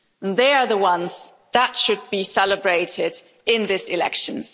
They are the ones that should be celebrated in these elections.